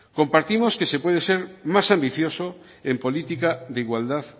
compartimos que se puede ser más ambicioso en política de igualdad